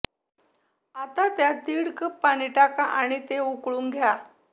आता त्यात दीड कप पाणी टाका आणि ते उकळू द्या